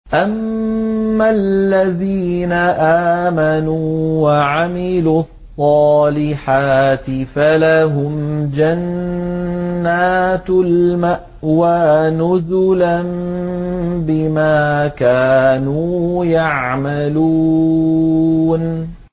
أَمَّا الَّذِينَ آمَنُوا وَعَمِلُوا الصَّالِحَاتِ فَلَهُمْ جَنَّاتُ الْمَأْوَىٰ نُزُلًا بِمَا كَانُوا يَعْمَلُونَ